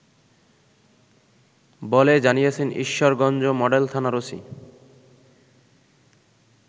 বলে জানিয়েছেন ঈশ্বরগঞ্জ মডেল থানার ওসি